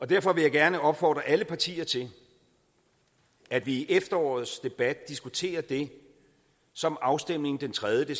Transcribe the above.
derfor vil jeg gerne opfordre alle partier til at vi i efterårets debat diskuterer det som afstemningen den tredje